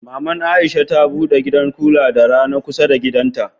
Mama Aisha ta bude gidan kula da rana kusa da gidana.